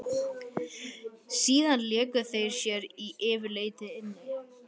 Síðan léku þau sér yfirleitt inni.